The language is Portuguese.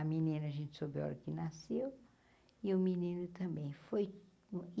A menina a gente soube a hora que nasceu e o menino também.